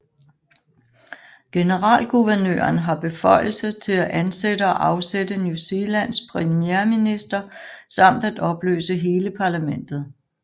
Generalguvernøren har beføjelse til at ansætte og afsætte New Zealands premierminister samt at opløse hele parlamentet